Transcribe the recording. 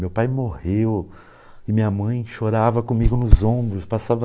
Meu pai morreu e minha mãe chorava comigo nos ombros, passava...